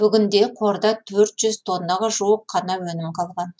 бүгінде қорда төрт жүз тоннаға жуық қана өнім қалған